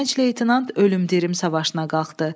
Gənc leytenant ölüm-dirim savaşına qalxdı.